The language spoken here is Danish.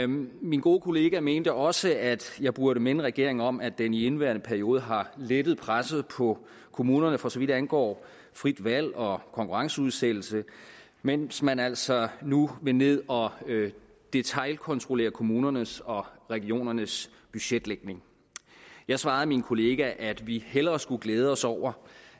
min gode kollega mente også at jeg burde minde regeringen om at den i indeværende periode har lettet presset på kommunerne for så vidt angår frit valg og konkurrenceudsættelse mens man altså nu vil ned og detailkontrollere kommunernes og regionernes budgetlægning jeg svarede min kollega at vi hellere skulle glæde os over